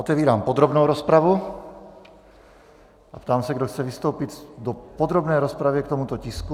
Otevírám podrobnou rozpravu a ptám se, kdo chce vystoupit v podrobné rozpravě k tomuto tisku.